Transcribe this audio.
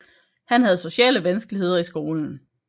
Han havde sociale vanskeligheder i skolen